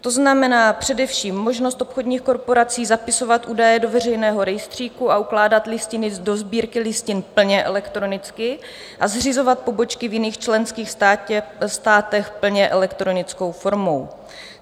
To znamená především možnost obchodních korporací zapisovat údaje do veřejného rejstříku a ukládat listiny do sbírky listin plně elektronicky a zřizovat pobočky v jiných členských státech plně elektronickou formou.